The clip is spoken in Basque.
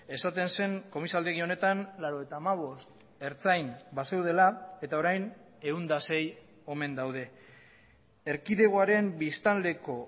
esaten zen komisaldegi honetan laurogeita hamabost ertzain bazeudela eta orain ehun eta sei omen daude erkidegoaren biztanleko